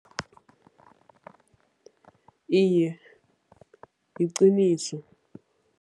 Iye, yiqiniso.